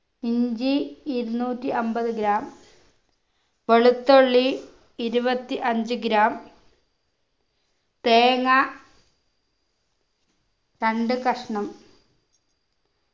ഇഞ്ചി ഇരുന്നൂറ്റി അമ്പത് gram വെളുത്തുള്ളി ഇരുപത്തി അഞ്ച് gram തേങ്ങ രണ്ടു കഷ്ണം